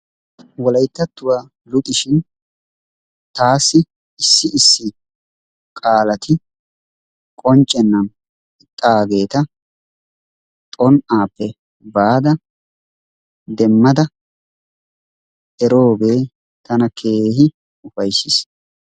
Wolayttattuwa luxishin taassi issi issi qaalati qonccenan ixxaageta xon''appe baada demmada eroogee tana keehi ufayssiis.